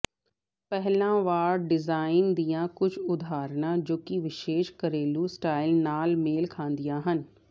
ਪਹਿਲਾਂ ਵਾੜ ਡਿਜ਼ਾਈਨ ਦੀਆਂ ਕੁਝ ਉਦਾਹਰਨਾਂ ਜੋ ਕਿ ਵਿਸ਼ੇਸ਼ ਘਰੇਲੂ ਸਟਾਈਲ ਨਾਲ ਮੇਲ ਖਾਂਦੀਆਂ ਹਨ